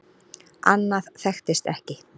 Annað þekktist ekki.